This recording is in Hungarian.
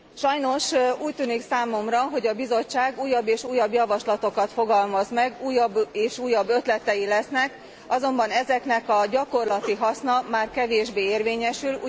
Sajnos, úgy tűnik számomra, hogy a Bizottság újabb és újabb javaslatokat fogalmaz meg, újabb és újabb ötletei lesznek, azonban ezeknek a gyakorlati haszna már kevésbé érvényesül.